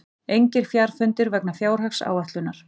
Engir fundir vegna fjárhagsáætlunar